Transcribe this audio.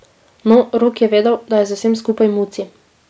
No, Rok je vedel, da je za vsem skupaj Muci.